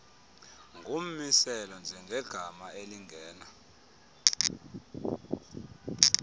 ngummiselo njengegama elingena